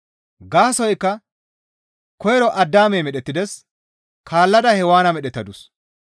Gaasoykka koyro Addaamey medhettides; kaallada Hewaana medhettadus.